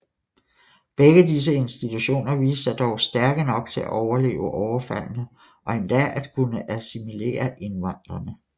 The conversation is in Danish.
Begge disse institutioner viste sig dog stærke nok til at overleve overfaldene og endda at kunne assimilere indvandrerne